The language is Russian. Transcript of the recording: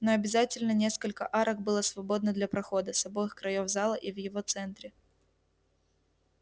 но обязательно несколько арок было свободно для прохода с обоих краёв зала и в его центре